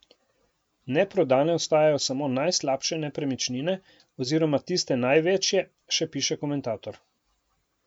Neprodane ostajajo samo najslabše nepremičnine oziroma tiste največje, še piše komentator.